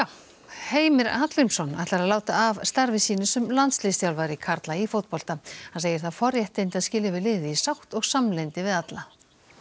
Heimir Hallgrímsson ætlar að láta af starfi sínu sem landsliðsþjálfari karla í fótbolta hann segir það forréttindi að skilja við liðið í sátt og samlyndi við alla